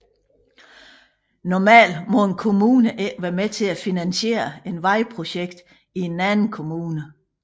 Normalt må en kommune ikke være med til at finansiere et vejprojekt i en anden kommune